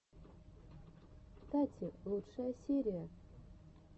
тати лучшая серия